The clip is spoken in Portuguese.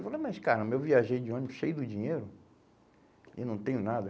Eu falei, mas caramba, eu viajei de ônibus cheio do dinheiro e não tenho nada.